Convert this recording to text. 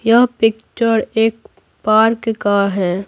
यह पिक्चर एक पार्क का है।